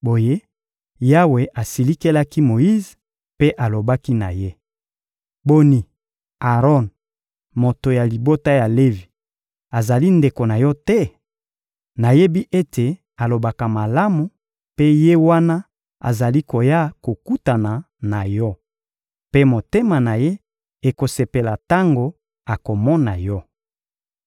Boye Yawe asilikelaki Moyize mpe alobaki na ye: — Boni, Aron, moto ya libota ya Levi, azali ndeko na yo te? Nayebi ete alobaka malamu mpe ye wana azali koya kokutana na yo; mpe motema na ye ekosepela tango akomona yo.